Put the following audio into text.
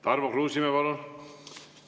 Tarmo Kruusimäe, palun!